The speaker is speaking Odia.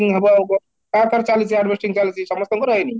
ହୁଁ ହବ ଆଉ କଣ, ତା ପରେ ଚାଲିଛି harvesting ଚାଲିଛି ସମସ୍ତଙ୍କର ହେଇନି